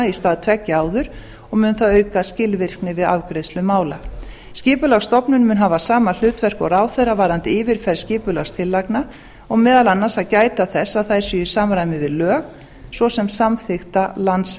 í stað tveggja áður og mun það auka skilvirkni við afgreiðslu mála skipulagsstofnun mun hafa sama hlutverk og ráðherra varðandi yfirferð skipulagstillagna og á meðal annars að gæta þess að þær séu í samræmi við lög svo sem samþykkta landsskipulagsáætlun